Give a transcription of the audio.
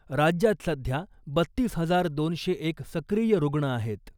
राज्यात सध्या बत्तीस हजार दोनशे एक सक्रीय रुग्ण आहेत .